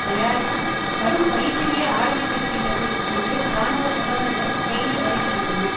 தயாரிப்பில் கடும் பயிற்சிகளை ஆரம்பித்திருக்கின்றது என்று இராணுவ தகவல்கள் செய்தி அறிவிக்கின்றன